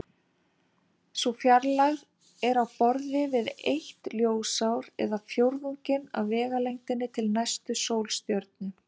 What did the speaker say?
Sú fjarlægð er á borð við eitt ljósár eða fjórðunginn af vegalengdinni til næstu sólstjörnu.